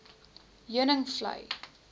heuningvlei